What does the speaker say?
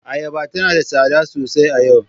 Ayaba tana da tsada sosai a yau.